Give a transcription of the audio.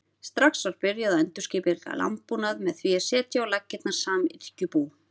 Strax var byrjað að endurskipuleggja landbúnað með því að setja á laggirnar samyrkjubú.